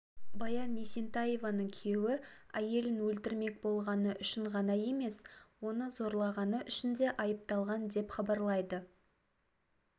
баян есентаеваның күйеуі әйелін өлтірмек болғаны үшін ғана емес оны зорлағаны үшін де айыпталған деп хабарлайды